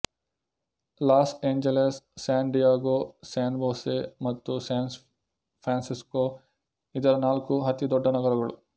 loss Angeles San Diego San Jose ಮತ್ತು San Francisco ಇದರ ನಾಲ್ಕು ಅತಿ ದೊಡ್ಡ ನಗರಗಳು